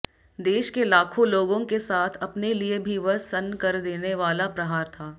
देश के लाखों लोगों के साथ अपने लिए भी वह सन्न कर देनेवाला प्रहार था